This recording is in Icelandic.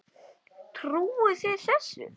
Trúið þið þessu?